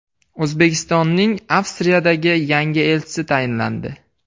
O‘zbekistonning Avstriyadagi yangi elchisi tayinlandi.